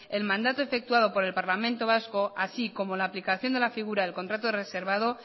el mandato efectuado por el parlamento vasco así como la aplicación de la figura del contrato reservado